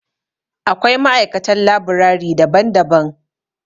Akwai ma'aikatan labirari daban-daban.